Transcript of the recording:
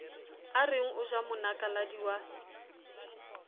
areng o ja monakaladi wa